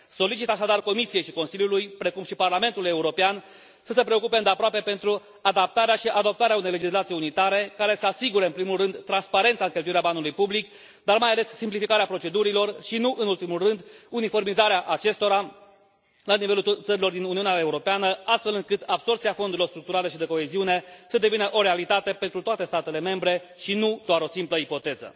Solicit așadar Comisiei și Consiliului, precum și Parlamentului European, să se preocupe îndeaproape de adaptarea și adoptarea unei legislații unitare care să asigure în primul rând transparența în cheltuirea banului public, dar, mai ales, simplificarea procedurilor și, nu în ultimul rând, uniformizarea acestora la nivelul țărilor din Uniunea Europeană, astfel încât absorbția fondurilor structurale și de coeziune să devină o realitate pentru toate statele membre și nu doar o simplă ipoteză.